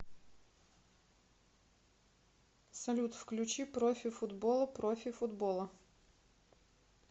салют включи профи футбола профи футбола